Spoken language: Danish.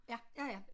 Ja ja ja